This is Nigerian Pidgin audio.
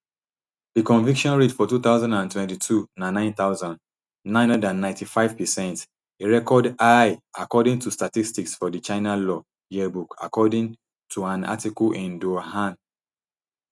di conviction rate for two thousand and twenty-two na nine thousand, nine hundred and ninety-five percent a record high according to statistics for di china law yearbook according toan article in dui hua